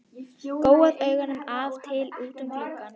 Gjóaði augunum af og til út um gluggann.